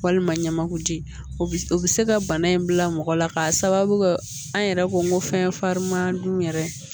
Walima ɲamakuji o bɛ se ka bana in bila mɔgɔ la k'a sababu kɛ an yɛrɛ ko fɛn farinman dun yɛrɛ